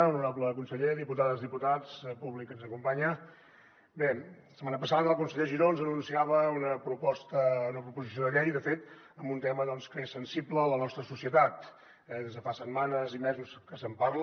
honorable conseller diputades i diputats públic que ens acompanya bé la setmana passada el conseller giró ens anunciava una proposició de llei de fet sobre un tema que és sensible a la nostra societat des de fa setmanes i mesos que se’n parla